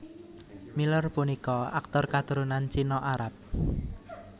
Miller punika aktor katurunan China Arab